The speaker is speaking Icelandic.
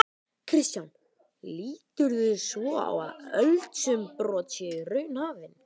Kristján: Líturðu svo á að eldsumbrot séu í raun hafin?